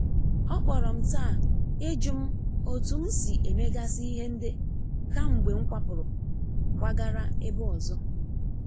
O kpọrọ m taa ijụm otu m si e megasi ihe nde kamgbe m kwapuru kwagara ebe ọzọ.